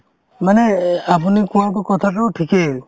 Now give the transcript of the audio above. মানে এহ্ আপুনি কোৱাতো কথাতোও ঠিকেই